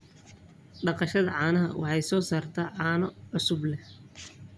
Dhaqashada caanaha waxay soo saartaa caano cusub.